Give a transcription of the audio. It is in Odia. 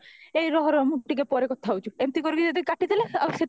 ଏଇ ରହ ରହ ମୁଁ ଟିକେ ପରେ କଥା ହଉଚି ଏମିତ କରିକି ଯଦି କାଟିଦେଲେ ଆଉ ସେତେବେଳେ